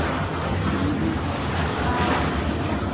Skíði úr gráhval